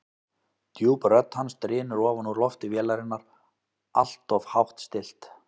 Djúp rödd hans drynur ofan úr lofti vélarinnar, alltof hátt stillt.